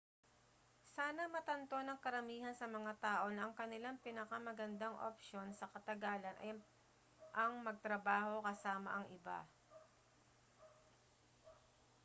sana matanto ng karamihan sa mga tao na ang kanilang pinakamagandang opsyon sa katagalan ay ang magtrabaho kasama ang iba